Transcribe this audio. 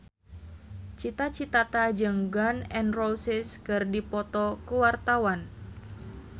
Cita Citata jeung Gun N Roses keur dipoto ku wartawan